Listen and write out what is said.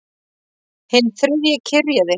Hinn þriðji kyrjaði